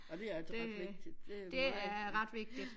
Og det altså ret vigtigt det meget vigtig ja